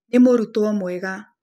Nĩ mũrutwo mwega